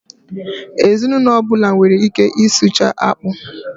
Ezinụlọ ọbụla nwere ike i sichaa akpụ.